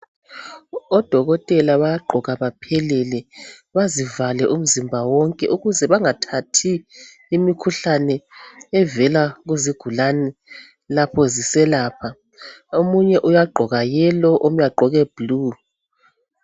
Odokotela bayagqoka baphelele bazivale umzimba wonke ukuze bengathathi imikhuhlane evela kuzigulane lakho ziselapha omunye uyagqoka yellow omunye agqoke blue.